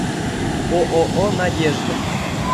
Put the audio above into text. ооо надежда